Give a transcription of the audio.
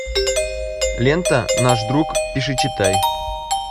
лента наш друг пиши читай